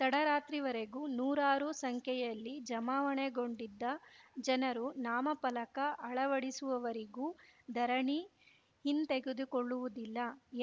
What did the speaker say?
ತಡರಾತ್ರಿವರೆಗೂ ನೂರಾರು ಸಂಖ್ಯೆಯಲ್ಲಿ ಜಮಾವಣೆಗೊಂಡಿದ್ದ ಜನರು ನಾಮಫಲಕ ಅಳವಡಿಸುವವರೆಗೂ ಧರಣಿ ಹಿಂದೆಗೆದುಕೊಳ್ಳುವುದಿಲ್ಲ